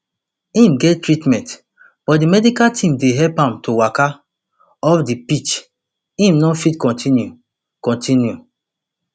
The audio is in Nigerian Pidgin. im get treatment but di medical team dey help am to waka off di pitch im no fit continue continue